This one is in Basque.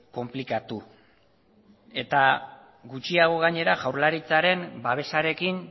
konplikatu eta gutxiago gainera jaurlaritzaren babesarekin